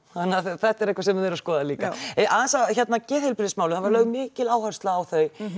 þetta er eitthvað sem þið eruð að skoða líka já aðeins að geðheilbrigðismálum það var lögð mikil áhersla á þau